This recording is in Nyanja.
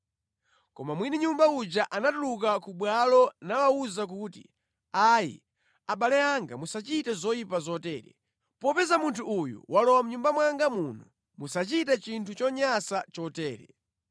Koma mwini nyumba uja anatuluka ku bwalo nawawuza kuti, “Ayi, abale anga musachite zoyipa zotere. Popeza munthu uyu walowa mʼnyumba mwanga muno, musachite chinthu chonyansa chotere.